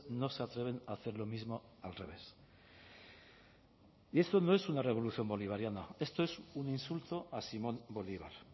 no se atreven a hacer lo mismo al revés y esto no es una revolución bolivariana esto es un insulto a simón bolívar